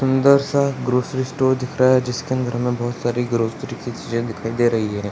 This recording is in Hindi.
अंदर सा ग्रॉसरी स्टोर दिख रहा है जिसके अंदर हमें बहुत सारी ग्रॉसरी की चीज़े दिखाइ दे रही है।